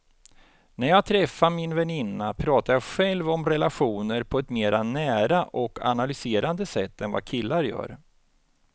När jag träffar min väninna pratar jag själv om relationer på ett mer nära och analyserande sätt än vad killar gör.